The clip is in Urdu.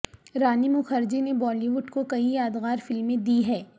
رانی مکھرجی نے بالی وڈ کو کئی یادگار فلمیں دی ہیں